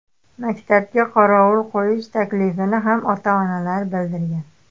Maktabga qorovul qo‘yish taklifini ham ota-onalar bildirgan.